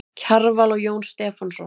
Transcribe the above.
Kjarval og Jón Stefánsson.